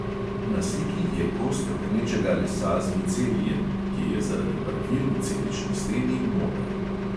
Na sliki je kos trohnečega lesa z micelijem, ki je zaradi barvil v celični steni moder.